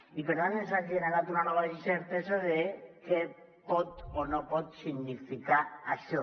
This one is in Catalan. i per tant ens ha generat una nova d’incertesa de què pot o no pot significar això